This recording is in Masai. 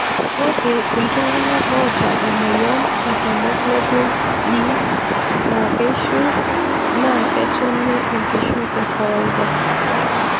Ore ltunganak ota emoyian e hemoglobin E na keishu naa ketoni enkishui ekawaida.